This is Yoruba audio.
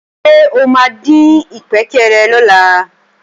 Ṣé o máa dín ìkpékeré lọ́la?